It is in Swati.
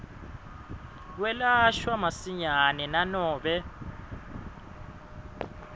kwelashwa masinyane nanobe